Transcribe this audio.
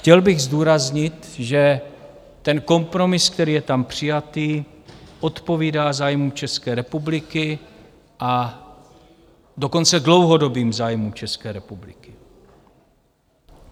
Chtěl bych zdůraznit, že ten kompromis, který je tam přijatý, odpovídá zájmům České republiky, a dokonce dlouhodobým zájmům České republiky.